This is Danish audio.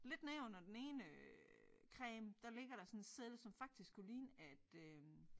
Lidt nedenunder den ene øh creme der ligger der sådan en seddel som faktisk kunne ligne at øh